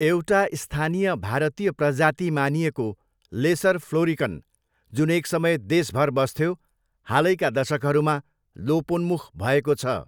एउटा स्थानीय भारतीय प्रजाति मानिएको लेसर फ्लोरिकन, जुन एक समय देशभर बस्थ्यो, हालैका दशकहरूमा लोपोन्मुख भएको छ।